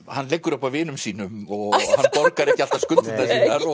hann liggur upp á vinum sínum og borgar ekki alltaf skuldirnar